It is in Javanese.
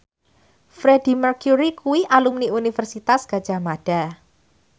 Freedie Mercury kuwi alumni Universitas Gadjah Mada